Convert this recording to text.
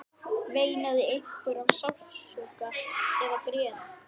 Eru þeir að fá bakreikning í höfuðið eftir nokkur ár?